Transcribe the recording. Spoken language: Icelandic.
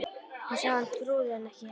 Hún sá að hann trúði henni ekki ennþá.